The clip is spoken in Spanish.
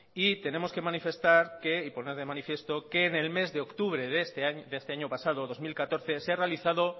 y tenemos que manifestar y poner de manifiesto que en el mes de octubre de este año pasado dos mil catorce se ha realizado